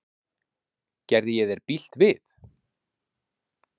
Gerði ég þér bylt við?